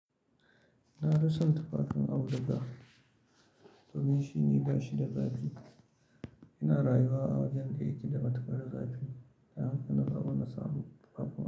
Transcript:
Na fisa tufafin auduga domin shi ne gashi da zafi. Ina rayuwa a wajen aiki da ba a tuka da zafi. Da yawan kuna, ban samu fita ba.